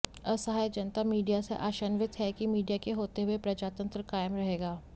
असहाय जनता मीडिया से आशान्वित है कि मीडिया के होते हुए प्रजातंत्र कायम रहेगा